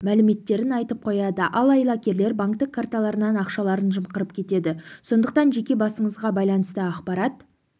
мәліметтерін айтып қояды ал айлакерлер банктік карталарынан ақшаларын жымқырып кетеді сондықтан жеке басыңызға байланысты ақпарат